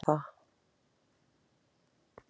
Það verður erfitt en ég veit hún stefnir á það.